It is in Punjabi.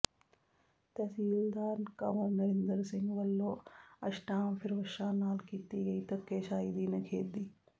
ਤਹਿਸੀਲਦਾਰ ਕੰਵਰ ਨਰਿੰਦਰ ਸਿੰਘ ਵੱਲੋਂ ਅਸ਼ਟਾਮਫਿਰੋਸ਼ਾਂ ਨਾਲ ਕੀਤੀ ਗਈ ਧੱਕੇਸ਼ਾਹੀ ਦੀ ਨਿਖੇਧੀ